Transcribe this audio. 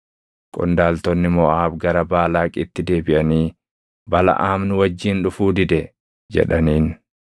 Qondaaltonni Moʼaab gara Baalaaqitti deebiʼanii, “Balaʼaam nu wajjin dhufuu dide” jedhaniin.